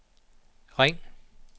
ring